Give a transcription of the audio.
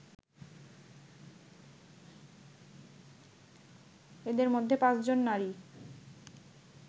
এদের মধ্যে পাঁচজন নারী